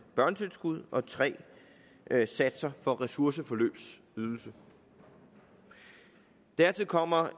børnetilskud og 3 satser for ressourceforløbsydelse dertil kommer